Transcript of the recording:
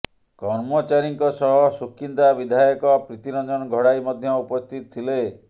କର୍ମଚାରୀଙ୍କ ସହ ସୁକିନ୍ଦା ବିଧାୟକ ପ୍ରୀତିରଞ୍ଜନ ଘଡାଇ ମଧ୍ୟ ଉପସ୍ଥିତ ଥିଲେ